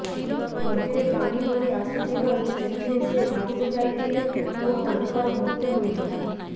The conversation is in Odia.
ନଦୀରେ ପାଣି ବଢି ଆସିଥିବାରୁ ସେଥିରେ ସେ ଭାସି ଯାଇଥିଲେ ଓ ତାଙ୍କର ମୃତ୍ୟୁ ହୋଇଥିଲା